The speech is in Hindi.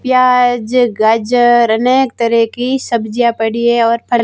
प्याज गाजर अनेक तरह की सब्जियां पड़ी है और--